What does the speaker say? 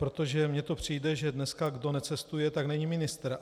Protože mně to přijde, že dneska kdo necestuje, tak není ministr.